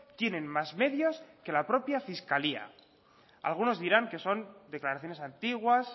tienen más medios que la propia fiscalía algunos dirán que son declaraciones antiguas